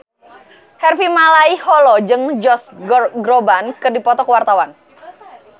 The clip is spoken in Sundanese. Harvey Malaiholo jeung Josh Groban keur dipoto ku wartawan